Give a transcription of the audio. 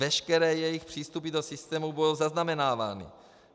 Veškeré jejich přístupy do systému budou zaznamenávány.